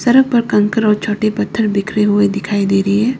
सड़क पर कंकर और छोटे पत्थर बिखरे हुए दिखाई दे रही है।